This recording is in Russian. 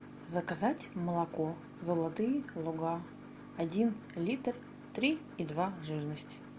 заказать молоко золотые луга один литр три и два жирность